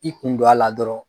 I kun don a la dɔrɔn